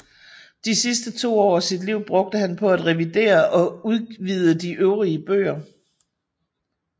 De sidste to år af sit liv brugte han på at revidere og udvide de øvrige bøger